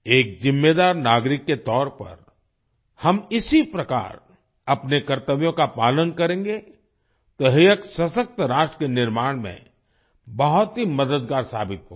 एक जिम्मेदार नागरिक के तौर पर हम इसी प्रकार अपने कर्तव्यों का पालन करेंगे तो यह एक सशक्त राष्ट्र के निर्माण में बहुत ही मददगार साबित होगा